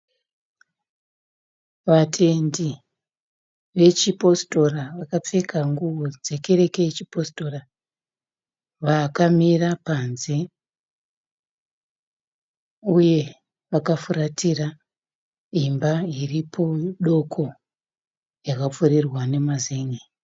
Vatendi vechipositora vakapfeka nguwo dzekereke yechipositora. Vakamira panze uye vakafuratira imba iripo doko yakapfurirwa nemazen'e.